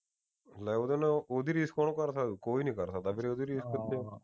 ਲੈ ਉਹਦੇ ਨਾਲ ਉਹਦੀ ਰੀਸ ਕੌਣ ਕਰ ਸਕਦਾ ਈ ਨਹੀ ਕਰ ਸਕਦਾ ਵੀਰੇ ਉਹਦੀ ਰੀਸ